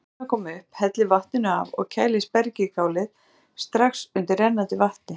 Látið suðuna koma upp, hellið vatninu af og kælið spergilkálið strax undir rennandi vatni.